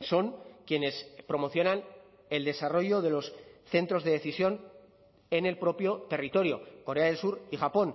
son quienes promocionan el desarrollo de los centros de decisión en el propio territorio corea del sur y japón